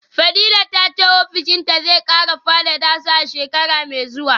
fadila tace ofishinta zai kara fadada su a shekara mai zuwa